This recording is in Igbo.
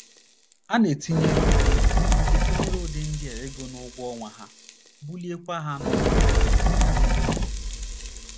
A na - etinyere ụdị etinyere ụdị ndị a ego n’ụgwọ ọnwa ha, buliekwa ha n’ọkwá um.